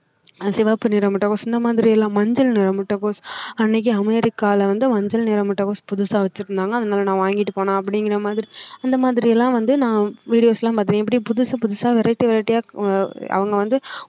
சிவப்பு நிற முட்டைகோஸ் இந்தமாதிரி எல்லாம் மஞ்சள் நிற முட்டைகோஸ் அன்னைக்கி அமெரிக்கால வந்து மஞ்சள் நிற முட்டைகோஸ் புதுசா வெச்சி இருந்தாங்க அதனால நான் வாங்கிட்டு போனேன் அப்டிங்கறமாதிரி அந்தமாதிரி எல்லாம் வந்து நான் videos எல்லாம் பார்த்து இருக்கேன் எப்படி புதுசு புதுசா vareity vareity ஆ அவங்க வந்து